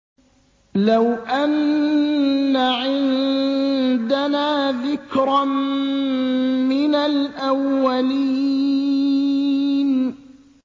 لَوْ أَنَّ عِندَنَا ذِكْرًا مِّنَ الْأَوَّلِينَ